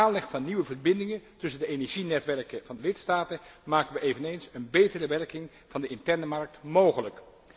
Door de aanleg van nieuwe verbindingen tussen de energienetwerken van de lidstaten maken wij eveneens een betere werking van de interne markt mogelijk.